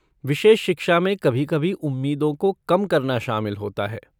विशेष शिक्षा में कभी कभी उम्मीदों को कम करना शामिल होता है।